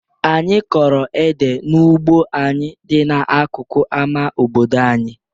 Anyị kọrọ ede n'ugbo anyị dị n'akụkụ ama obodo anyị.